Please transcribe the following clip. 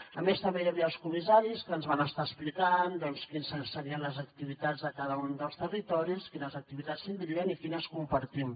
a més també hi havia els comissaris que ens van estar explicant doncs quines serien les activitats de cada un dels territoris quines activitats tindrien i quines compartim